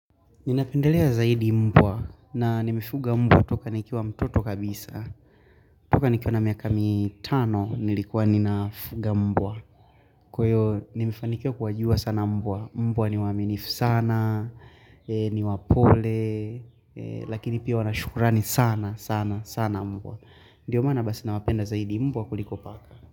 Ninapendelea zaidi mbwa na nimefuga mbwa toka nikiwa mtoto kabisa. Toka nikiwa na miaka mitano nilikuwa ninafuga mbwa. Kwa hiyo nimefanikiwa kuwajua sana mbwa. Mbwa ni waaminifu sana, ni wapole, lakini pia wana shukurani sana sana sana mbwa. Ndio maana basi nawapenda zaidi mbwa kuliko paka.